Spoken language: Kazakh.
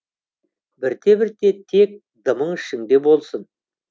бірте бірте тек дымың ішіңде болсын